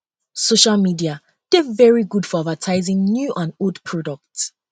social medis dey very good for advertising new and old products